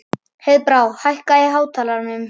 Heiðbrá, hækkaðu í hátalaranum.